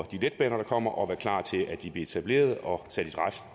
de letbaner der kommer og være klar til at de bliver etableret og sat i